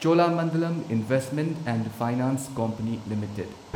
Cholamandalam investment and finance company limited